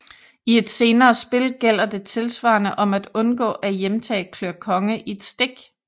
I et senere spil gælder det tilsvarende om at undgå at hjemtage klør konge i et stik